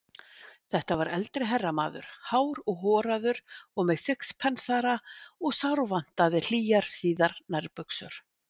Þetta var eldri herramaður, hár og horaður og með sixpensara og sárvantaði hlýjar síðar nærbuxur.